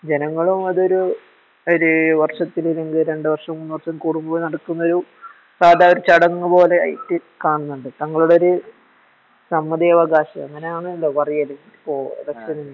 ജനങ്ങളുമാതൊരു ഒര് വർഷത്തിലൊര് വർഷോ മൂന്നോവർഷോകൂടുമ്പോ ന ടക്കുന്നൊരു സാധ ഒരു ചടങ്ങുപോലെയായിട്ടു കാണുന്നുണ്ട് തങ്ങളുടെയോര് സമ്മദിയവകാശം അങ്ങനെയാണല്ലോ പറയല്